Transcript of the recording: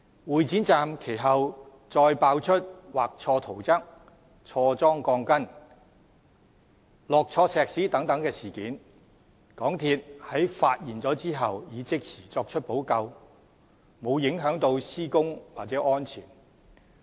會展站其後再被揭發出畫錯圖則、裝錯鋼筋、灌錯混凝土等事件，港鐵公司在發現後已即時作出補救，沒有影響施工或安全。